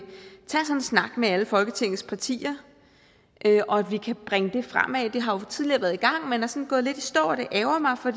snak med alle folketingets partier og at vi kan bringe det fremad det har jo tidligere været i gang men er sådan gået lidt i stå og det ærgrer mig for